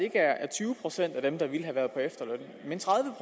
er tyve procent af dem der ville have været på efterløn men tredive